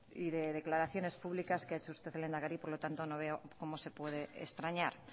y de declaraciones públicas que ha hecho usted lehendakari por lo tanto no veo cómo se puede extrañar